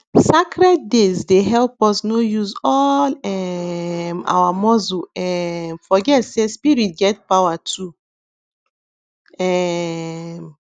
sacred days dey help us no use all um our muscle um forget say spirit get power too um